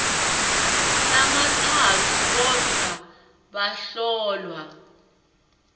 lamatsatfu kodvwa bahlolwa